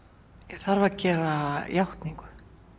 ég þarf að gera játningu